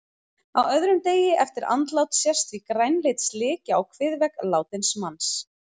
Á öðrum degi eftir andlát sést því grænleit slikja á kviðvegg látins manns.